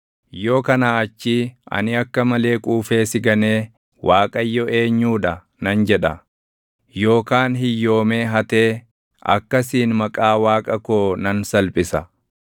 Yoo kanaa achii ani akka malee quufee si ganee ‘ Waaqayyo eenyuu dha?’ nan jedha; yookaan hiyyoomee hatee, akkasiin maqaa Waaqa koo nan salphisa.